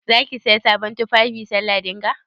Za ki Siya sabon tufafi sallah dinga?